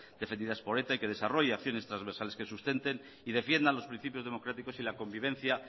defendidas por eta y que desarrolla acciones transversales que sustenten y defiendan los principios democráticos y la convivencia